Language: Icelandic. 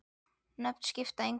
Nöfn skipta engu máli.